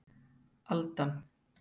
Aldan